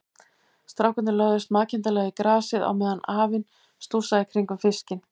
Strákarnir lögðust makindalega í grasið á meðan afinn stússaði í kringum fiskinn.